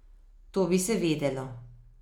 To bi se vedelo.